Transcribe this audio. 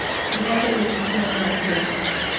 Ithatũ ici cihana atĩa?